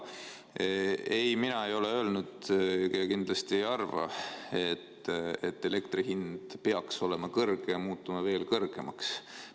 Ei, mina ei ole öelnud ja kindlasti ma ei arva, et elektri hind peaks olema kõrge ja muutuma veel kõrgemaks.